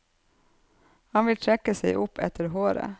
Han vil trekke seg opp etter håret.